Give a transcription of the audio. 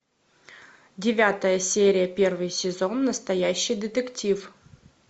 девятая серия первый сезон настоящий детектив